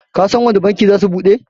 Kasan wanne banki zasu bude?